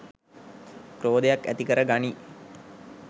ක්‍රෝධයක් ඇතිකර ගනියි